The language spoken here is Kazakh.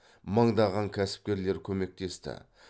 мыңдаған кәсіпкерлер көмектесті